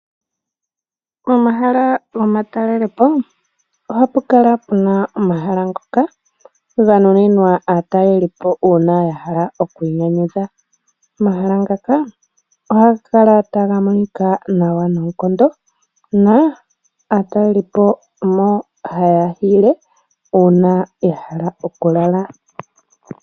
Pomahala gamatalelepo ohapu kala puna omahala ngoka ganuninwa aatalelipo uuna ya hala okwiinyanyudha. Omahala ngaka ohaga kala taga monika nawa noonkondo . Aatalelipo omo haya hiile uuna ya hala okukala.